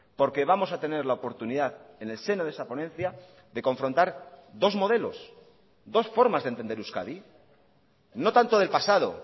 porque vamos a tener la oportunidad en el seno de esa ponencia de confrontar dos modelos dos formas de entender euskadi no tanto del pasado